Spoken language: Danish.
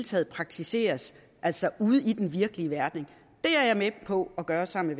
skal praktiseres altså ude i den virkelige verden det er jeg med på at gøre sammen